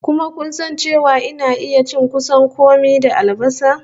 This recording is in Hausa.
Kuma kun san cewa ina iya cin kusan kome da albasa?